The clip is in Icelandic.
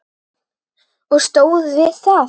Og stóð við það.